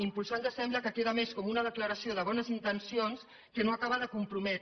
impulsar ens sembla que queda més com una declaració de bones intencions que no acaba de comprometre